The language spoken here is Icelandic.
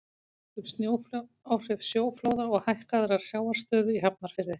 áhrif sjóflóða og hækkaðrar sjávarstöðu í hafnarfirði